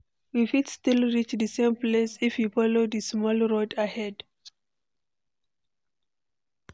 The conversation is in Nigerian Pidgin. We fit still reach di same place if we follow di small road ahead.